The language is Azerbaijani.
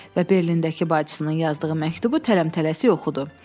Və Berlindəki bacısının yazdığı məktubu tələm-tələsik oxudu.